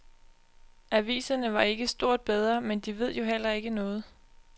Aviserne var ikke stort bedre, men de ved jo heller ikke noget.